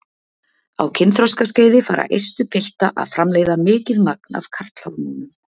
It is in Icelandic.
Á kynþroskaskeiði fara eistu pilta að framleiða mikið magn af karlhormónum.